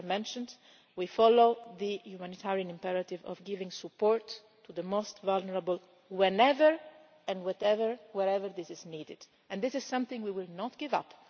As I mentioned, we follow the humanitarian imperative of giving support to the most vulnerable, whenever, whatever and wherever this is needed, and this is something we will not give up.